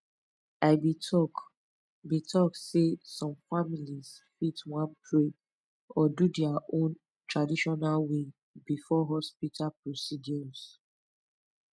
i be talk be talk sey some families fit want pray or do their own traditional way before hospital procedures